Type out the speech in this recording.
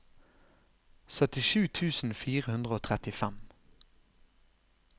syttisju tusen fire hundre og trettifem